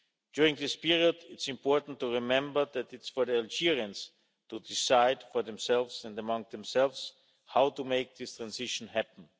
During this period, it's important to remember that it's for the Algerians to decide for themselves and among themselves how to make this transition happen.